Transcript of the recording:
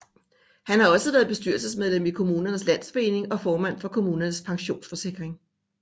Han har også været bestyrelsesmedlem i Kommunernes Landsforening og formand for Kommunernes Pensionsforsikring